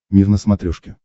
мир на смотрешке